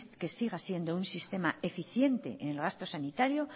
que siga siendo un sistema eficiente en gasto sanitario